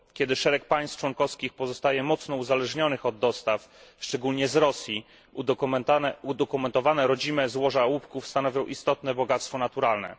Kiedy szereg państw członkowskich pozostaje mocno uzależnionych od dostaw, szczególnie z Rosji, udokumentowane rodzime złoża łupków stanowią istotne bogactwo naturalne.